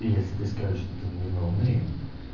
если ты скажешь что ты не ноунейм